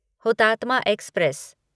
Hutatma express